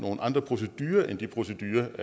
andre procedurer end de procedurer